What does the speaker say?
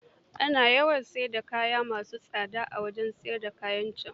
Ana samun kaya ma su tsafa a wajen siyar da kayan can.